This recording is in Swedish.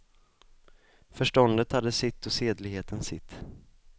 Förståndet hade fått sitt och sedligheten sitt.